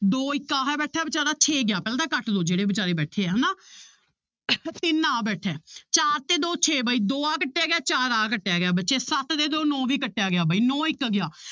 ਦੋ ਇੱਕ ਆਹ ਬੈਠਾ ਹੈ ਬੇਚਾਰਾ ਛੇ ਗਿਆ ਪਹਿਲਾਂ ਤਾਂ ਕੱਟ ਲਓ ਜਿਹੜੇ ਬੇਚਾਰੇ ਬੈਠੇ ਆ ਹਨਾ ਤਿੰਨ ਆਹ ਬੈਠਾ ਹੈ ਚਾਰ ਤੇ ਦੋ ਛੇ ਬਾਈ ਦੋ ਆਹ ਕੱਟਿਆ ਗਿਆ ਚਾਰ ਆਹ ਕੱਟਿਆ ਗਿਆ ਬੱਚੇ ਸੱਤ ਤੇ ਦੋ ਨੋਂ ਵੀ ਕੱਟਿਆ ਗਿਆ ਬਾਈ ਨੋਂ ਇੱਕ ਗਿਆ